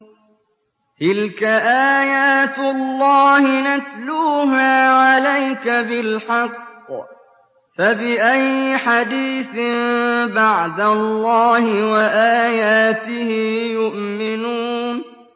تِلْكَ آيَاتُ اللَّهِ نَتْلُوهَا عَلَيْكَ بِالْحَقِّ ۖ فَبِأَيِّ حَدِيثٍ بَعْدَ اللَّهِ وَآيَاتِهِ يُؤْمِنُونَ